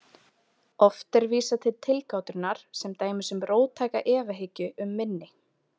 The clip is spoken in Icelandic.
Oft er vísað til tilgátunnar sem dæmis um róttæka efahyggju um minni.